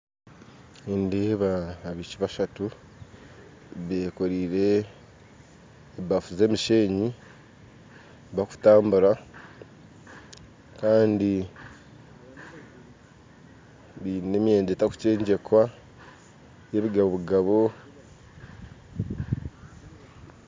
Nindeeba abaishiiki bashatu bekoraire ebaaffu z'emishenyi bakutambura kandi baine emyenda etakukyegyekwa n'ebigabogabo